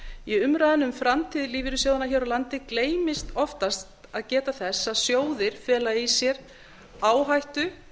í umræðunni um framtíð lífeyrissjóðanna hér á landi gleymist oftast að geta þess að sjóðir fela í sér áhættu